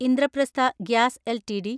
Indraprastha gas LTD